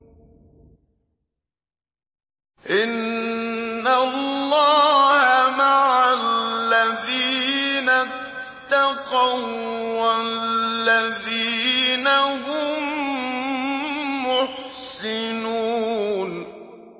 إِنَّ اللَّهَ مَعَ الَّذِينَ اتَّقَوا وَّالَّذِينَ هُم مُّحْسِنُونَ